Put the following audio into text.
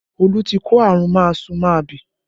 Olu tí kó àrùn máasu-máabì